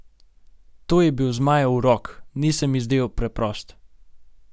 To je bil Zmajev urok, ni se mi zdel preprost.